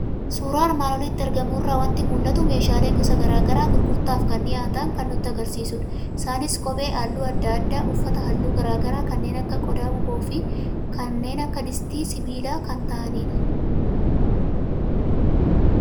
Suuraa armaan olitti argamu irraa waanti mul'atu; meeshaalee gosa garaagaraa gurgurtaaf kan dhiyaatan kan nutti agarsiisudha. Isaanis kophee halluu adda addaa, uffata halluu garaagaraa, kanneen akka qoda-bukoofi kanneen akka distii sibiilaa kan ta'anidha.